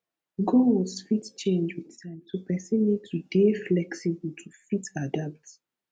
goals fit change with time so person need to dey flexible to fit adapt